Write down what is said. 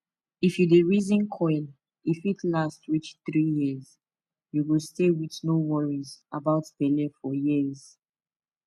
if you dey reason coil e fit last reach 3yrs u go stay with no worries about belle for years